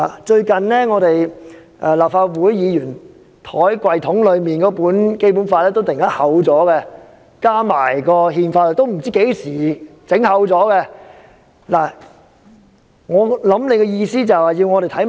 最近，立法會議員放在抽屉內那本《基本法》突然加厚，加入了《憲法》，也不知道是何時加厚的。